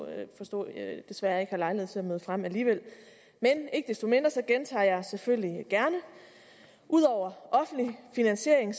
desværre ikke har lejlighed til at møde frem alligevel men ikke desto mindre gentager jeg det selvfølgelig gerne ud over offentlig finansiering